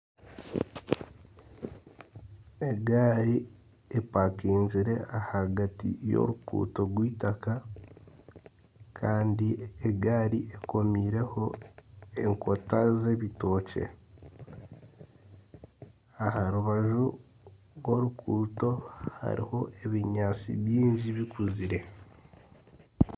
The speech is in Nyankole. Egaari epakingire ahagati y'oruguuto rweitaka Kandi egaari ekomirweho enkota z'ebitookye aha rubaju rw'orukuuto hariho ebinyaatsi bingi bikuzire